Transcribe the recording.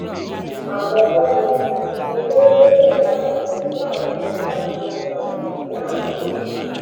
àkọkọ ni ni pé ó lẹdí àpò pẹlú àwọn kan láti hu ìwà ibi láàrin ìlú